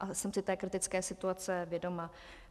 A jsem si té kritické situace vědoma.